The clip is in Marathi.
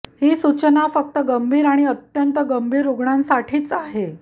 ही सूचना फक्त गंभीर आणि अत्यंत गंभीर रुग्णांसाठीच आहे